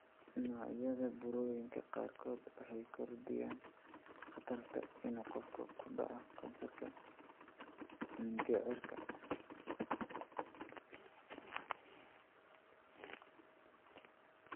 Noocyada burooyinka qaarkood waxay kordhiyaan khatarta ah inuu qofka ku dhaco kansarka mindhicirka.